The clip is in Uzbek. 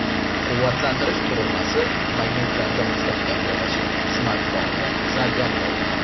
Quvvatlantirish qurilmasi magnitlarda mustahkam joylashib, smartfonni zaryadlaydi.